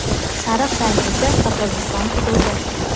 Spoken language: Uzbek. sariq rang esa Qirg‘iziston hududi.